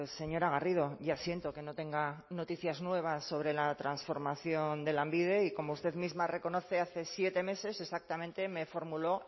señora garrido ya siento que no tenga noticias nuevas sobre la transformación de lanbide y como usted misma reconoce hace siete meses exactamente me formuló